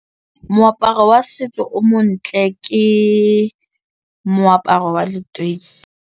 Moaparo wa setso o montle ke moaparo wa leteisi.